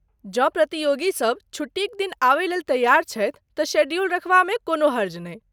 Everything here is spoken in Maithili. जँ प्रतियोगी सभ छुट्टीक दिन आबयलेल तैयार छथि तँ शेड्यूल रखबामे कोनो हर्ज नहि।